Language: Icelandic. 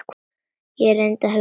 Ég reyndi að hugsa.